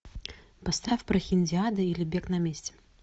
поставь прохиндиада или бег на месте